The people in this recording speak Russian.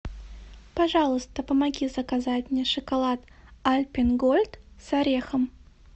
пожалуйста помоги заказать мне шоколад альпен гольд с орехом